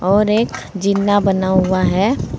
और एक जींना बना हुआ है।